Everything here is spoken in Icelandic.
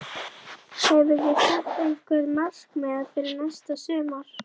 Hefurðu sett einhver markmið fyrir næsta sumar?